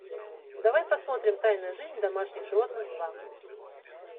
давай посмотрим тайную жизнь домашних животных два